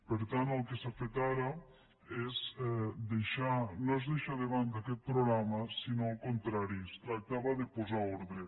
per tant el que s’ha fet ara no és deixar de banda aquest programa sinó al contrari es tractava de posar ordre